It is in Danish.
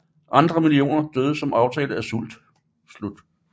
Andre millioner døde som følge af sult